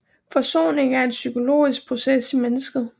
Forsoningen er en psykologisk proces i mennesket